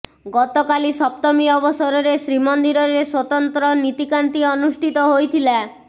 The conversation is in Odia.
ଗତକାଲି ସପ୍ତମୀ ଅବସରରେ ଶ୍ରୀମନ୍ଦିରରେ ସ୍ୱତନ୍ତ୍ର ନୀତିକାନ୍ତି ଅନୁଷ୍ଠିତ ହୋଇଥିଲା